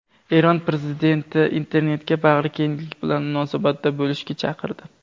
Eron prezidenti internetga bag‘rikenglik bilan munosabatda bo‘lishga chaqirdi.